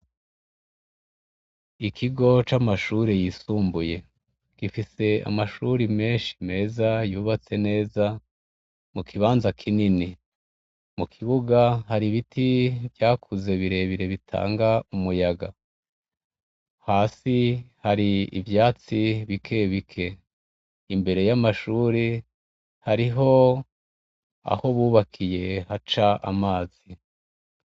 Ikigo c' amashure yisumbuye gifis' amashure menshi meza y'ubatse neza mu kibanza kinini. Mu kibuga, har' ibiti vyakuze birebire bitang' umuyaga, hasi har' ivyatsi bike bike, imbere y'amashure harih' aho bubakiye hac' amazi.